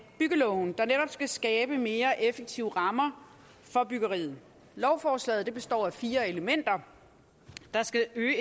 byggeloven der netop skal skabe mere effektive rammer for byggeriet lovforslaget består af fire elementer der skal øge